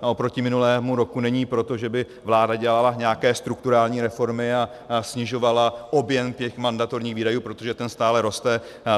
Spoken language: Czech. oproti minulému roku není proto, že by vláda dělala nějaké strukturální reformy a snižovala objem mandatorních výdajů, protože ten stále roste.